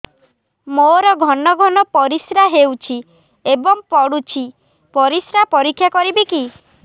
ମୋର ଘନ ଘନ ପରିସ୍ରା ହେଉଛି ଏବଂ ପଡ଼ୁଛି ପରିସ୍ରା ପରୀକ୍ଷା କରିବିକି